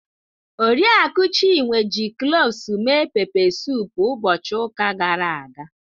Oriakụ Chinwe ji cloves mee pepe suup ụbọchị ụka gara aga.